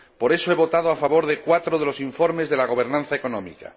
Por eso he votado a favor de cuatro de los informes sobre la gobernanza económica.